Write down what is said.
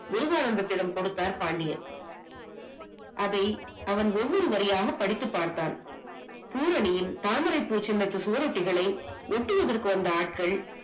விடம் கொடுத்தார் பாண்டியன். அதை அவன் ஒவ்வொரு வரியாக படித்துப் பார்த்தான். பூரணியின் தாமரை பூ சின்னத்து சுவரொட்டிகளை ஒட்டியதற்கு வந்த ஆட்கள்